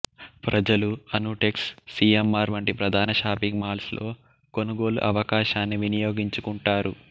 ప్రజలు Anutex C M R వంటి ప్రధాన షాపింగ్ మాల్స్ లో కొనుగోళ్ళు అవకాశాన్ని వినియోగించుకుంటారు